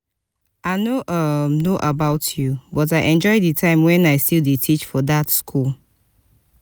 i no um know about you but i enjoy the time wen i still dey teach for dat school